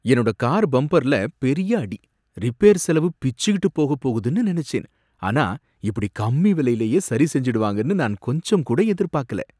என்னோட கார் பம்பர்ல பெரிய அடி, ரிப்பேர் செலவு பிச்சுக்கிட்டு போகப் போகுதுன்னு நினைச்சேன், ஆனா இப்படி கம்மி விலையிலயே சரி செஞ்சுடுவாங்கனு நான் கொஞ்சங்கூட எதிர்பாக்கல.